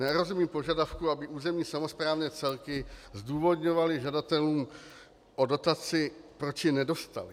Nerozumím požadavku, aby územní samosprávné celky zdůvodňovaly žadatelům o dotaci, proč ji nedostali.